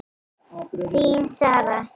Þín Sara.